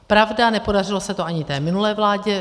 Pravda, nepodařilo se to ani té minulé vládě.